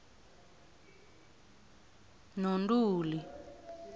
nontuli